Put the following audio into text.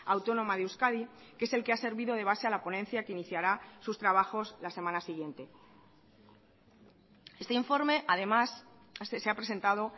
autónoma de euskadi que es el que ha servido de base a la ponencia que iniciará sus trabajos la semana siguiente este informe además se ha presentado